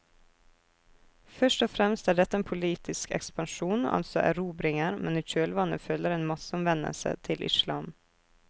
Først og fremst er dette en politisk ekspansjon, altså erobringer, men i kjølvannet følger en masseomvendelse til islam.